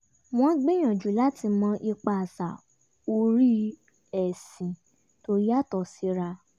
wọ́n gbìyànjú láti mọ ipa àṣà orí ẹ̀sìn tó yàtọ̀ síra